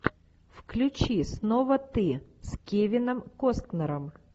включи снова ты с кевином костнером